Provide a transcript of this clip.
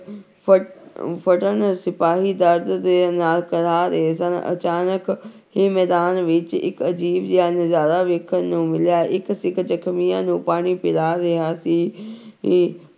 ਫ ਫੜਨ ਸਿਪਾਹੀ ਦਰਦ ਦੇ ਨਾਲ ਕਰਾਹ ਰਹੇ ਸਨ ਅਚਾਨਕ ਹੀ ਮੈਦਾਨ ਵਿੱਚ ਇੱਕ ਅਜ਼ੀਬ ਜਿਹਾ ਨਜ਼ਾਰਾ ਵੇਖਣ ਨੂੰ ਮਿਲਿਆ, ਇੱਕ ਸਿੱਖ ਜਖ਼ਮੀਆਂ ਨੂੰ ਪਾਣੀ ਪਿਲਾ ਰਿਹਾ ਸੀ ਸੀ।